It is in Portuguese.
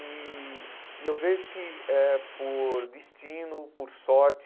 E e eu vejo que é por destino, por sorte,